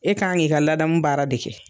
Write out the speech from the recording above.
E ka kan k'i ka ladamu baara de kɛ.